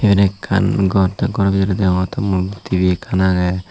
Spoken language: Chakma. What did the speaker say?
yan ekkan gor te goro bidire deongotte mondo TV ekkan age.